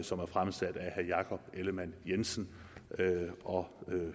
som er fremsat af herre jakob ellemann jensen og